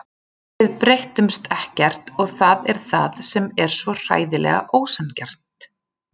Við breytumst ekkert og það er það sem er svo hræðilega ósanngjarnt.